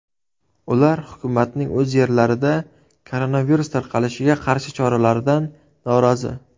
Ular hukumatning o‘z yerlarida koronavirus tarqalishiga qarshi choralaridan norozi.